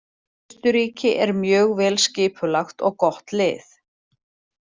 Austurríki er mjög vel skipulagt og gott lið.